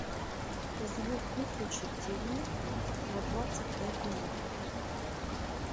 звук выключить тиви на двадцать пять минут